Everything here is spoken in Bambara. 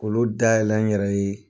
K'ulu dayɛlɛ n yɛrɛ ye.